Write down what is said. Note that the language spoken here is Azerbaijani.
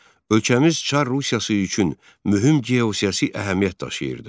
Ölkəmiz Çar Rusiyası üçün mühüm geosiyasi əhəmiyyət daşıyırdı.